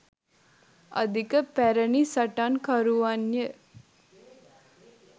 අධික පැරණි සටන්කරුවන්ය